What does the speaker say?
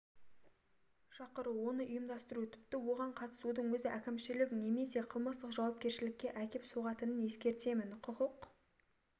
шақыру оны ұйымдастыру тіпті оған қатысудың өзі әкімшілік немесе қылмыстық жауапкершілікке әкеп соғатынын ескертемін құқық